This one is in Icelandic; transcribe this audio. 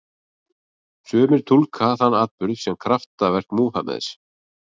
Sumir túlka þann atburð sem kraftaverk Múhameðs.